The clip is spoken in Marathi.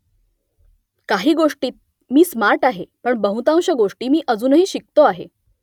काही गोष्टींत मी स्मार्ट आहे पण बहुतांश गोष्टी मी अजूनही शिकतो आहे